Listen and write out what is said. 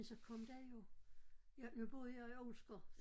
Men så kom der jo jeg nu boede jeg i Olsker